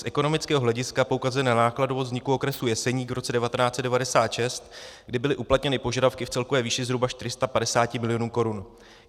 Z ekonomického hlediska poukazuje na nákladovost vzniku okresu Jeseník v roce 1996, kdy byly uplatněny požadavky v celkové výši zhruba 450 milionů korun.